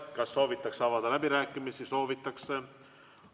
Kas soovitakse avada läbirääkimisi?